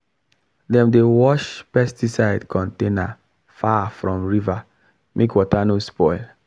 dem dey wash pesticide container far from river make water no spoil